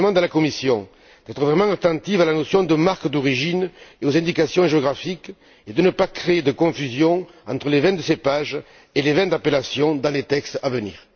Je demande à la Commission d'être vraiment attentive à la notion de marque d'origine et aux indications géographiques et de ne pas créér de confusion entres les vins de cépage et les vins d'appellation dans les textes à venir.